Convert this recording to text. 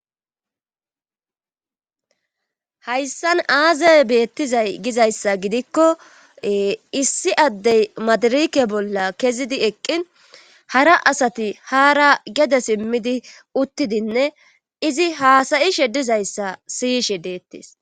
Hayssan aazaye beettizay gizayssa gidikko issi addey madarike bolla kezidi eqqin hara asati haara gede simmidi uttidinne izi haasayi shedizayssa siyishe deettes.